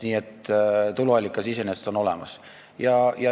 Nii et tuluallikas iseenesest on olemas.